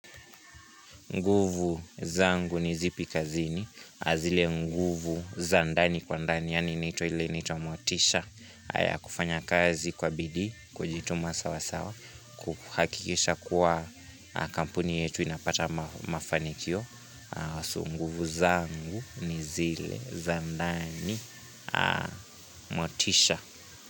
Nguvu zangu ni zipi kazini, zile nguvu zandani kwa ndani, yaani ile inaitwa motisha, haya kufanya kazi kwa bidii, kujituma sawa sawa, kuhakikisha kuwa kampuni yetu inapata mafanikio. Nguvu zangu ni zile zandani motisha.